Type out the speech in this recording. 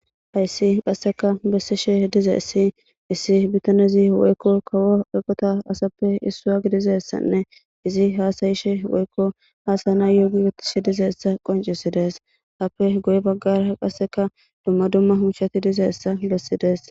Hayssi qasseka bessishe dize issi issi bitanezi woykko kawo eqota asappe issua gidizessanne izi haasayishe woykko haasana yoogi wittishe dizeessa qoncisidees happe goy baggara qasseka dumma dumma hunchshati dizeessa bessidees.